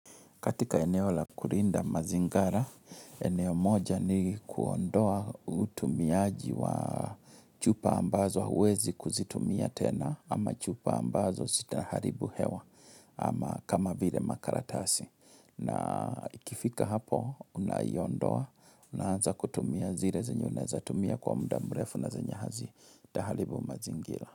Katika eneo la kulinda mazingara, eneo moja ni kuondoa utumiaji wa chupa ambazo huwezi kuzitumia tena ama chupa ambazo zitaharibu hewa ama kama vile makaratasi. Na ikifika hapo, unaiondoa, unaanza kutumia zile zenye, unaeza tumia kwa muda mrefu na zenye hazitaharibu mazingira.